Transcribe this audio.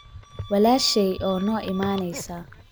Walaashay oo noo imanaysa.